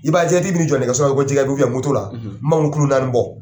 I b'a ye jɛgɛtigi bɛ n'i jɔ nɛgɛsɔ ko jɛgɛ la n b'a fɔ kulo naani bɔ.